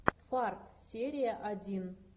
фарт серия один